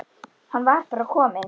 Hann var bara kominn.